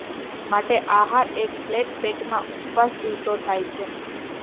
માટે આહાર એક ફ્લેટ પેટમાં ઉપવાસ દિવસો થાય છે